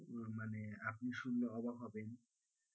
উহ মানে আপনি শুনলে অবাক হবেন,